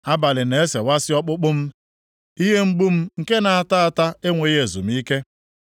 Abalị na-esewasị ọkpụkpụ m, ihe mgbu m nke na-ata ata enweghị ezumike.